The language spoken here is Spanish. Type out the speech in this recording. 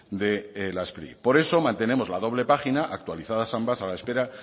de la spri por eso mantenemos la doble página actualizadas ambas a la espera